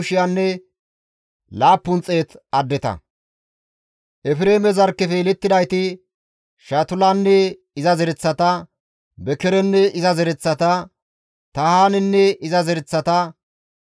Efreeme zarkkefe yelettidayti, Shutulanne iza zereththata, Bekerenne iza zereththata, Tahaanenne iza zereththata,